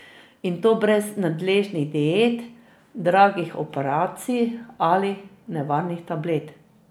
In to brez nadležnih diet, dragih operacij ali nevarnih tablet.